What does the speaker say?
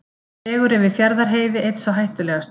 Vegur yfir Fjarðarheiði einn sá hættulegasti